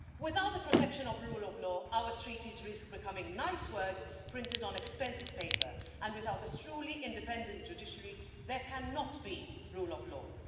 Without the protection of the rule of law, our Treaties risk becoming nice words printed on expensive paper, and without a truly independent judiciary, there cannot be rule of law.